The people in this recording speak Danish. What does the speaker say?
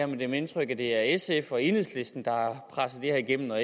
mit indtryk at det er sf og enhedslisten der har presset det her igennem og